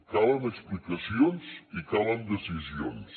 calen explicacions i calen decisions